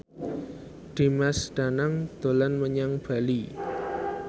Dimas Danang dolan menyang Bali